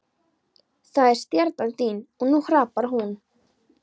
Það er stjarnan þín og nú hrapar hún.